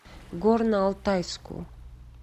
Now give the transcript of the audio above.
горно алтайску